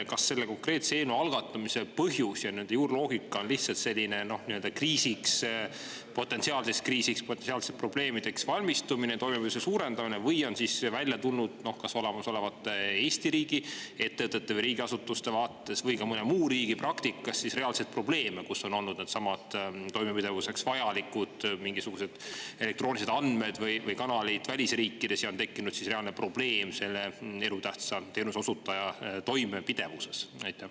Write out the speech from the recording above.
Kas selle konkreetse eelnõu algatamise põhjus ja juurloogika on lihtsalt selline potentsiaalseks kriisiks, potentsiaalseteks probleemideks valmistumine, toimepidevuse suurendamine või on välja tulnud kas olemasolevate Eesti riigiettevõtete või riigiasutuste vaates või ka mõne muu riigi praktikast reaalseid probleeme, kus on olnud needsamad toimepidevuseks vajalikud mingisugused elektroonilised andmed või kanalid välisriikides ja on tekkinud reaalne probleem selle elutähtsa teenuse osutaja toimepidevuses?